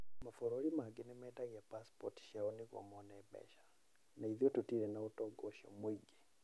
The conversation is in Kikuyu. Mabũrũri mangĩ nĩ mendagia pacipoti ciao nĩguo mone mbeca, na ithuĩ tũtirĩ na ũtonga ũcio mwĩingĩ.